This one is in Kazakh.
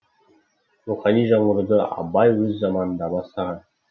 рухани жаңғыруды абай өз заманында бастаған